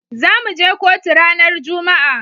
Zamu je kotu ranar juma'a.